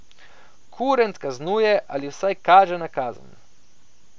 Kurent kaznuje ali vsaj kaže na kazen.